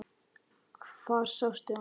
Hvar sástu hann?